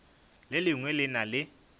le lengwe le na le